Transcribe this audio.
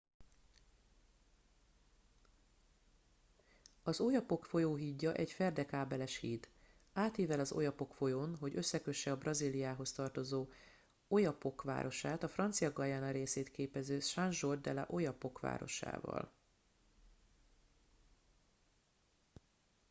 az oyapock folyó hídja egy ferdekábeles híd átível az oyapock folyón hogy összekösse a brazíliához tartozó oiapoque városát a francia guyana részét képező saint georges de l'oyapock városával